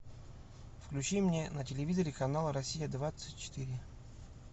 включи мне на телевизоре канал россия двадцать четыре